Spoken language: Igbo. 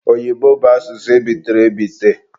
Oyibo bụ asụsụ ebitere ebite.